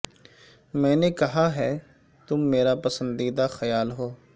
میں نے کہا ہے تم میرا پسندیدہ خیال ہو